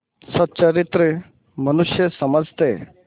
सच्चरित्र मनुष्य समझते